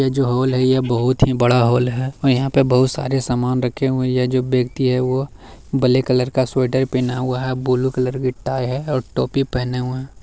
यह जो हॉल है ये बहुत ही बड़ा हॉल है और यहाँ पे बहुत सारे सामान रखे हुए हैं। यह जो व्यक्ति है वो ब्लैक कलर का स्वेटर पहना हुआ है ब्लू कलर की टाई है और टोपी पहने हुए हैं।